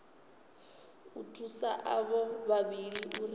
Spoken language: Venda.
u thusa avho vhavhili uri